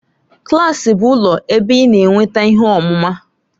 Klaasị bụ ụlọ ebe ị na-enweta ihe ọmụma.